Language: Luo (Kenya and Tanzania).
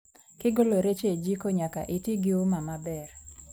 Kigolo rech e jiko, nyaka itii gi uma maber